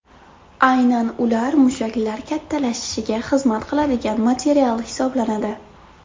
Aynan ular mushaklar kattalashishiga xizmat qiladigan material hisoblanadi.